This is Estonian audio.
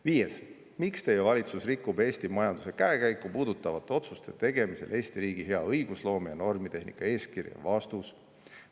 Viies küsimus: "Miks teie valitsus rikub Eesti majanduse käekäiku puudutavate otsuste tegemisel Eesti riigi hea õigusloome ja normitehnika eeskirja?